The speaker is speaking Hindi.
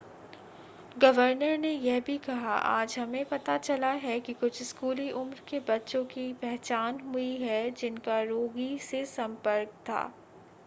गवर्नर ने यह भी कहा आज हमें पता चला है कि कुछ स्कूली उम्र के बच्चों की पहचान हुई है जिनका रोगी से संपर्क था